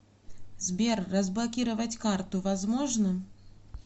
сбер разблокировать карту возможно